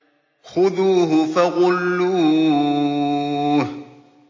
خُذُوهُ فَغُلُّوهُ